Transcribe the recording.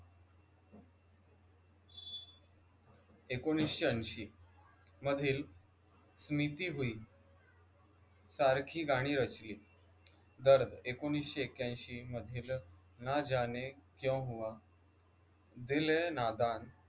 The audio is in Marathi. ऐकोनिसशे अंशी मधील स्मृती होईल सारखी गाणी रचली दर ऐकोनिसशे एक्यांशी मधील न जाने क्यू हुवा दिल ए नादान